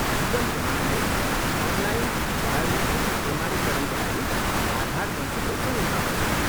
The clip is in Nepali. जीवन प्रमाणले अनलाइन बायोमेट्रिक प्रमाणीकरणका लागि आधार मञ्चको प्रयोग गर्दछ।